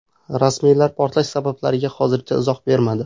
Rasmiylar portlash sabablariga hozircha izoh bermadi.